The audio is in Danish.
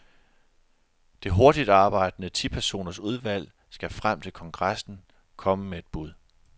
Det hurtigt arbejdende tipersoners udvalg skal frem til kongressen komme med bud.